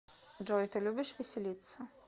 джой ты любишь веселиться